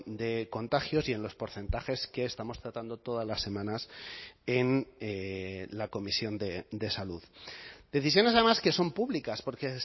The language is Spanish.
de contagios y en los porcentajes que estamos tratando todas las semanas en la comisión de salud decisiones además que son públicas porque